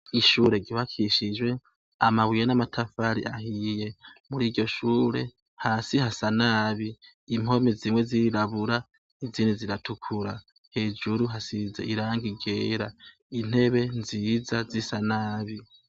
Ishure ryubakishijwe amabuye n’amatafari ahiye. Muriryo shure, hasi hasa nabi, impome zimwe zirirabura, izindi ziratukura, hejuru hasize irangi ryera, intebe nziza zisa nabi.